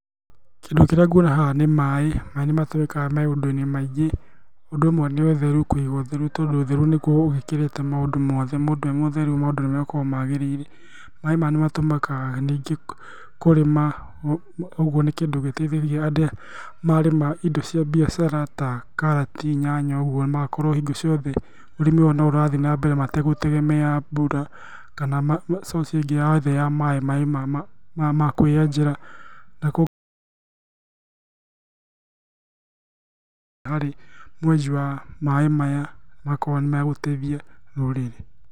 Kĩndũ kĩrĩa nguona haha nĩ maaĩ. Na nĩ makĩhũthĩkaga na maũndũ maingĩ. ũndũ ũmwe nĩ ũtheru. Kũiga ũtheru nĩguo ũgĩkĩrĩte maũndũ tondũ ũtheru nĩguo ũgĩkĩrĩte maũndũ mothe, mũndũ e mũtheru maũndũ makoragwo magĩrĩire. Maaĩ maya nĩ matũmĩkaga kũrĩma. ũguo nĩ kĩndũ gĩteithagia marĩma indo cia mbiacara ta karati, nyanya ũguo magakorwo hingo ciothe nĩ marathiĩ na mbere matagũtegemea mbura kana source ĩngĩ yothe ya maaĩ. Maaĩ ma kwĩyenjera nĩ makoragwo makĩmateithia.